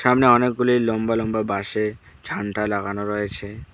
সামনে অনেকগুলি লম্বা লম্বা বাঁশে ঝান্ডা লাগানো রয়েছে।